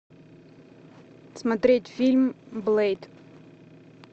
смотреть фильм блэйд